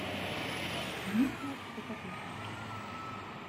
муха цокотуха